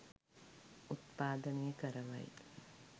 උත්පාදනය කරවයි.